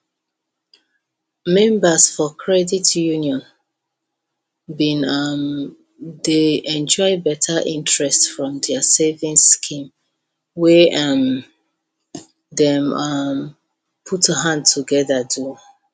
members for credit union been um dey enjoy better interest from their savings scheme wey um dem um put hand together do